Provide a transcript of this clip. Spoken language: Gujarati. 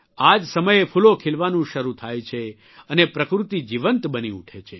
આ જ સમયે ફૂલો ખિલવાનું શરૂ થાય છે અને પ્રકૃતિ જીવંત બની ઉઠે છે